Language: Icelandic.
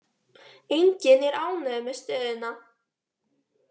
Enginn er ánægður með stöðuna.